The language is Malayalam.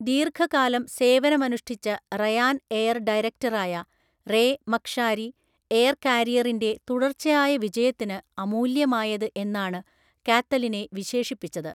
ദീർഘകാലം സേവനമനുഷ്ഠിച്ച റയാൻഎയർ ഡയറക്ടറായ റേ മക്‌ഷാരി, എയർ കാരിയറിൻറെ തുടർച്ചയായ വിജയത്തിന് അമൂല്യമായത് എന്നാണ് കാത്തലിനെ വിശേഷിപ്പിച്ചത്.